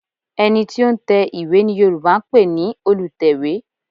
Ẹ̀ni tí ó ń tẹ ìwé ni Yorùbá ń pè ní Olùtẹ̀wé